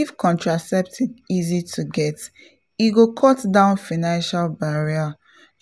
if contraceptive easy to get e go cut down financial barrier